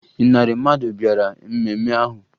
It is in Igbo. Ịnarị mmadụ bịara mmemme ahụ